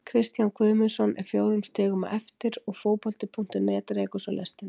Kristján Guðmundsson er fjórum stigum á eftir og Fótbolti.net rekur svo lestina.